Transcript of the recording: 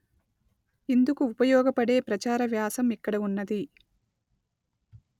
ఇందుకు ఉపయోగపడే ప్రచార వ్యాసం ఇక్కడ ఉన్నది